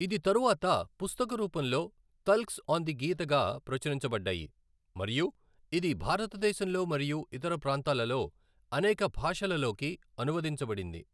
ఇది తరువాత పుస్తక రూపంలో, తల్క్స్ ఆన్ ది గీతగా ప్రచురించబడ్డాయి మరియు ఇది భారతదేశంలో మరియు ఇతర ప్రాంతాలలో అనేక భాషలలోకి అనువదించబడింది.